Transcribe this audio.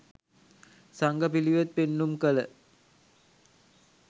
සංඝ පිළිවෙත් පෙන්නුම් කළ